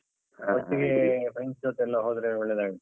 ಹಾ ಒಟ್ಟಿಗೆ friends ಜೊತೆ ಎಲ್ಲ ಹೋದ್ರೆ ಒಳ್ಳೇದಾಗುತ್ತೆ.